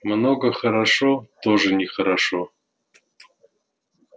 много хорошо тоже нехорошо